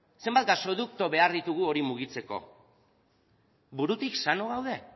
zenbat gasodukto behar ditugu hori mugitzeko burutik sano gaude